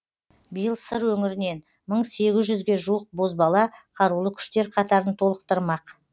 биыл сыр өңірінен мың сегіз жүзге жуық бозбала қарулы күштер қатарын толықтырмақ